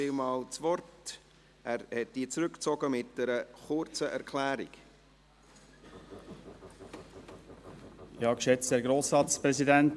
Wir haben dort einen Rückzug, und ich gebe dem Motionär das Wort, wenn ihn irgendjemand noch anmeldet.